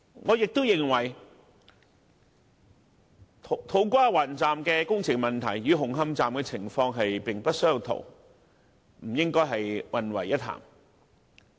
我也認同土瓜灣站的工程問題，與紅磡站的情況並不相同，不應混為一談。